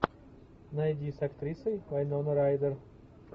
найди с актрисой вайнона райдер